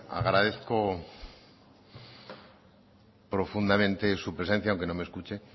agradezco profundamente su presencia aunque no me escuche